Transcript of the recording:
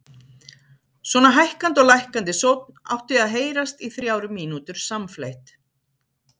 Svona hækkandi og lækkandi sónn átti að heyrast í þrjár mínútur samfleytt.